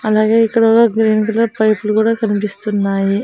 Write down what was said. అలాగే ఇక్కడ ఒక గ్రీన్ కలర్ పైపులు కూడా కనిపిస్తున్నాయి.